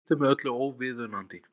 Slíkt er með öllu óviðunandi